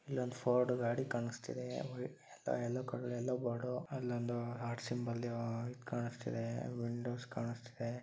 ಇಲ್ಲೊಂದು ಫೋರ್ಡ ಗಾಡಿ ಕಾಣಿಸುತ್ತಿದೆ. ಎಲ್ಲೋ ಕಲರ್ ಎಲ್ಲೋ ಬೋರ್ಡ್ ಅಲ್ಲೊಂದು ಆರ್ಟ್ ಸಿಂಬಲ್ ಕಾಣಿಸ್ತಾಇದೆ ವಿಂಡೋಸ್ ಕಾಣುತ್ತಿದೆ.